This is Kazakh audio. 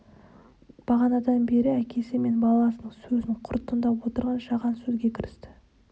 бағанадан бері әкесі мен баласының сөзін құр тыңдап отырған жаған сөзге кірісті